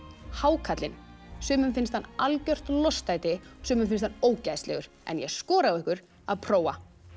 hákarlinn sumum finnst hann algjört lostæti sumum finnst hann ógeðslegur en ég skora á ykkur að prófa